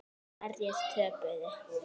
Hverjir töpuðu?